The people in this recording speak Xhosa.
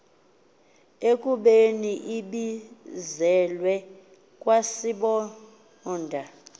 ekubeni ibizelwe kwasibonda